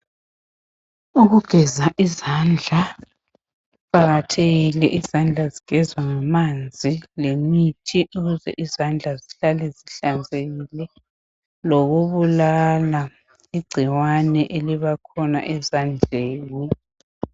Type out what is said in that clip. Ukugeza izandla kuqakathekile. Izandla zigezwa ngamanzi lemithi ukuze izandla zihlale zihlanzekile lokubulala igcikwane elibakhona ezandleni.